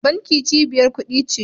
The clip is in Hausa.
Banki cibiyar kudi ce